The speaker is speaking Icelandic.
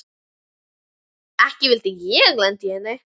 Ekki vildi ég lenda í henni!